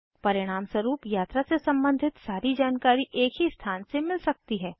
परिणामस्वरुप यात्रा से सम्बंधित सारी जानकारी एक ही स्थान से मिल सकती है